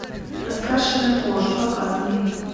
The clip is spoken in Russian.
раскрашенная кожа показывай